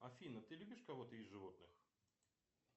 афина ты любишь кого то из животных